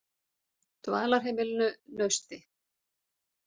Dvalarheimilinu Nausti